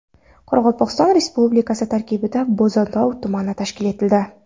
Qoraqalpog‘iston Respublikasi tarkibida Bo‘zatov tumani tashkil etildi.